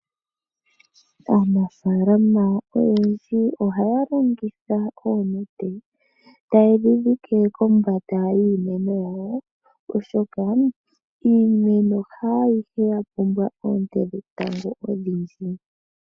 Aanafalama oyendji ohaya longitha oonete, tayedhi dhidhike kombanda yiimeno yawo oshoka iimeno haayihe yapumbwa oonte dhetango odhindji.